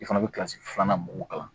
I fana bɛ kilasi filanan mun kalan